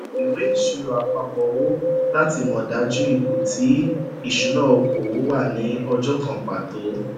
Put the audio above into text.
ìwé ìṣirò àpapọ owó láti mọ dájú ipò ti ìṣúnná okòwò wà ni ọjọ kan pàtó